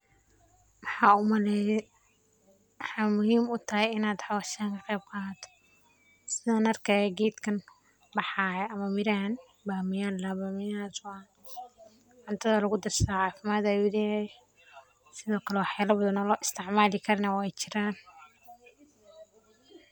Maxaa u maleye waxaa muhiim u tahay in an howshan ka qeb qadhato sithan arkaya geedkan baxaya ama mirahan mirahas oo cuntadha lagu darsadho cafimaad ayu leyahay ona lo isticmali karana wey jiran.